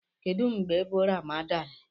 Kedu mgbe bu Ramadan?